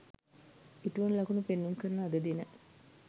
ඉටුවන ලකුණු පෙන්නුම් කරන අද දින